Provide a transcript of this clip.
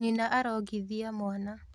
Nyina arongithia mwana